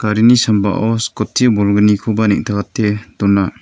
garini sambao skoti bolgnikoba neng·takate dona.